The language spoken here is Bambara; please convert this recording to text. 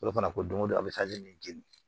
fana ko don o don a bɛ min jeni